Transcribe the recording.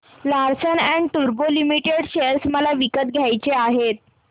Larsen and टुर्बो limited share मला विकत घ्यायचे आहेत